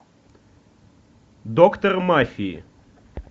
доктор мафии